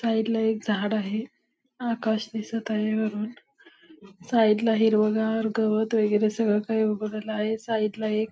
side ला एक झाडं आहे आकाश दिसत आहे वरुन साइड ला हिरवगार गवत वैगेरे सगळे काही उभारलेल आहे साइड ला एक--